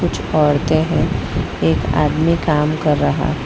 कुछ औरते हैं एक आदमी काम कर रहा है।